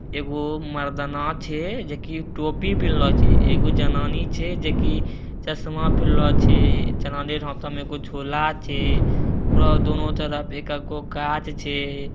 एगो मर्दाना छै जे की टोपी पेहेनलो छै एगो जनानी छै जे की चश्मा पेहनलो छै जनानी रे हथवा में एगो झोला छै ओकरा दोनों तरफ एक एकगो गाछ छै।